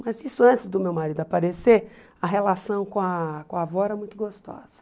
Mas isso antes do meu marido aparecer, a relação com a com a avó era muito gostosa.